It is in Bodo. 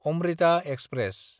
अम्रिता एक्सप्रेस